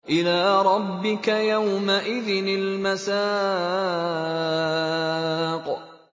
إِلَىٰ رَبِّكَ يَوْمَئِذٍ الْمَسَاقُ